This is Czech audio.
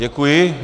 Děkuji.